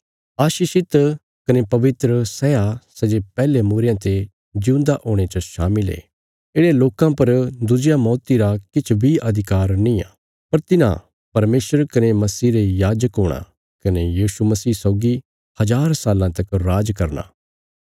आशीषित कने पवित्र सै आ सै जे पैहले मूईरयां ते जिऊंदा हुणे च शामिल ये येढ़यां लोकां पर दुज्जिया मौती रा किछ बी अधिकार निआं पर तिन्हां परमेशर कने मसीह रे याजक हूणा कने यीशु मसीह सौगी हज़ार साल्लां तक राज करना